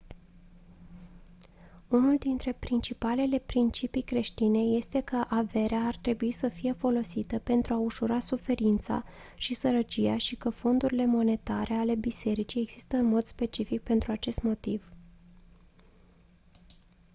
unul dintre principalele principii creștine este că averea ar trebui să fie folosită pentru a ușura suferința și sărăcia și că fondurile monetare ale bisericii există în mod specific pentru acest motiv